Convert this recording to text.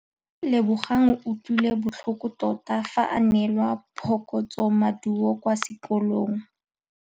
Lebogang o utlwile botlhoko tota fa a neelwa phokotsômaduô kwa sekolong.